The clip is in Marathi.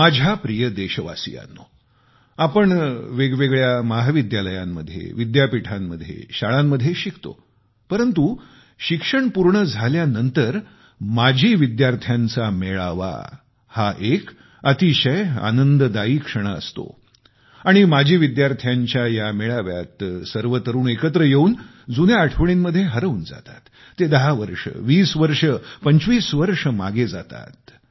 माझ्या प्रिय देशवासियांनो आपण वेगवेगळ्या महाविद्यालयांमध्ये विद्यापीठांमध्ये शाळांमध्ये शिकतो हे खरं परंतु शिक्षण पूर्ण झाल्यानंतर माजी विद्यार्थ्यांचा मेळावा हा एक अतिशय आनंददायी क्षण असतो आणि माजी विद्यार्थ्यांच्या या मेळाव्यात सर्व तरुण एकत्र येवून जुन्या आठवणींमध्ये हरवून जातात आयुष्य 10 वर्षे 20 वर्षे 25 वर्षे मागे जाते